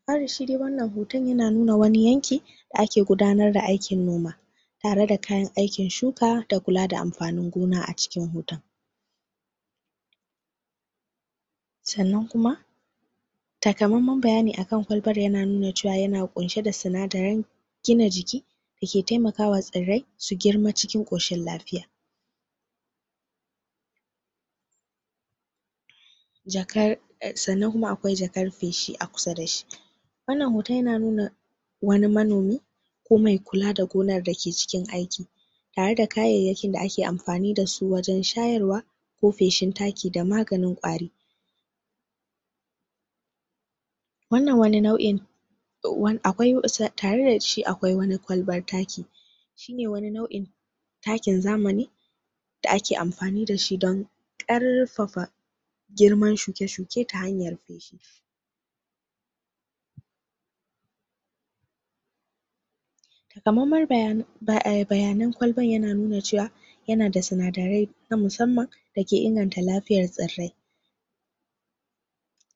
dafari shidai wannan hoton yana nuna wani yanki da ake gudanar da aikin noma tare da kayan aikin suka da kula da amfanin gona acikin hoton sannan kuma ta kamanman bayani akan kolban yana nuna cewa yana ƙunshe da sinadare gina jiki dake temakawa tsirre su girma cikin ƙwashin lafiya jakar sannan kuma akwai jakar feshi akusa dashi wannan hoton yananuna wani manomi ko me kula da gonar dake cikin aiki tare da kayaiyakin da ake amfani dasu wajan shayar wa ko feshin taki da maganin ƙwari wannan wani nau in akwai taredashi akwai wani kwalban taki wani nau'in takin zamani da ake amfani dashi don ƙar fafa girman shuke shuke ta hanyar? bayanan kwalban yana nuna cewa yanada sina darai na musamman dake inganta lafiyan tsirrai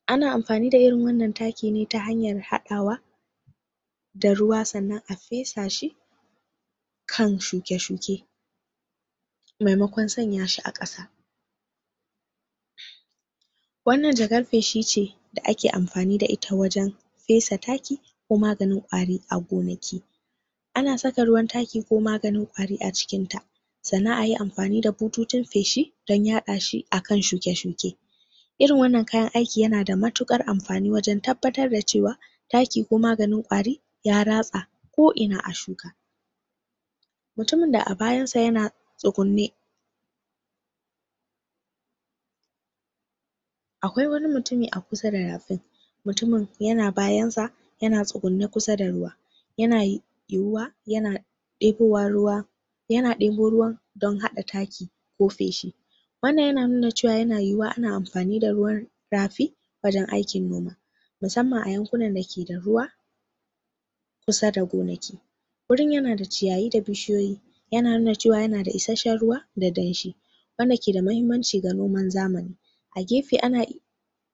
ana amfani da wannan takine ta hanyan haɗawa da ruwa sannan afesashi kan shuke shuke me makon sanyashi a ƙasa wannan jakar feshi ce da ake amfani da ita wajan fesa taki ko maganin ƙwari agonaki ana saka taki ko maganin ƙwari acikinta sannan ayi amfani da bututun feshi dan yaɗashi akan shuke shuke irin waɗannan kayan aiki yanada matuƙar amfani wajan tabbatar da cewa taki ko maganin ƙwari ya ra tsa ko ina a shuka mutumun da abayansa yana tsugunne akwai wani mutumi akusa da rafin mutumin yana bayansa yana tsugunne kusa da ruwa yana yiwuwa yana ɗebowan ruwa yana ɗebo ruwan don haɗa taki ko feshi wannan yana nuna cewa yayuwuwa ana amfani da ruwan rafi wajan aikin noma musamman a yankunan dake da ruwa kusa da gonaki gurin yanda ciyayi da bishi yoyi yana nuna cewa yanada isheshen ruwa da danshi wanda ke da mahimmanci ga noman zamani agefe ana iya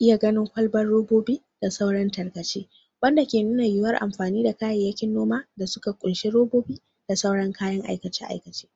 iya ganin ƙwalban robobi da sauran tarkace wanda ke nuna yuwuwan amfani da kayaiyakin noma da suka ƙunshi robobi da suran kayan aikace aikace